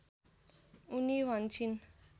उनी भन्छिन्